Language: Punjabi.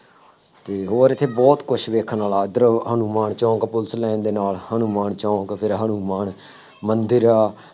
ਅਤੇ ਹੋਰ ਇੱਥੇ ਬਹੁਤ ਕੁੱਛ ਦੇਖਣ ਵਾਲਾ, ਇੱਧਰ ਹਨੂੰਮਾਨ ਚੌਂਕ ਪੁਲਿਸ ਲਾਈਨ ਦੇ ਨਾਲ ਹਨੂੰਮਾਨ ਚੌਂਕ ਫੇਰ ਹਨੂੰਮਾਨ ਮੰਦਿਰ ਆ